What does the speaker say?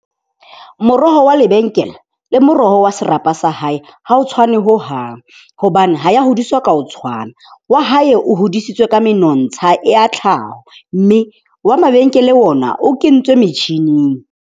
Moroho wa lebenkele le moroho wa serapa sa hae, ha o tshwane hohang. Hobane ha ya hodiswa ka ho tshwana. Wa hae o hodisitswe ka menontsha ya tlhaho. Mme wa mabenkele ona o kentswe metjhining.